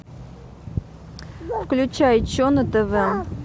включай че на тв